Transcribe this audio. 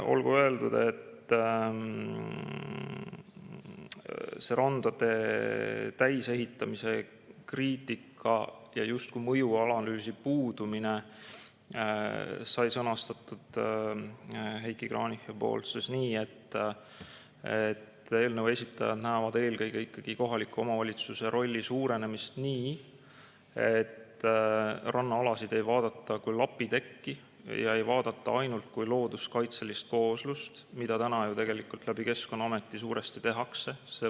Olgu öeldud, et randade täisehitamise kriitika ja justkui mõjuanalüüsi puudumise sõnastas Heiki Kranich nii: eelnõu esitajad näevad eelkõige ikkagi kohaliku omavalitsuse rolli suurenemist selliselt, et rannaalasid ei vaadata kui lapitekki või ainult kui looduskaitselist kooslust, mida täna ju tegelikult Keskkonnaameti kaudu suuresti tehakse.